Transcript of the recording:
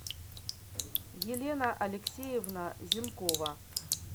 елена алексеевна зенкова